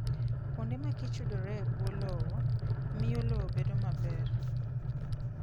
Kuonde ma kich yudore e bwo lowo, miyo lowo bedo maber.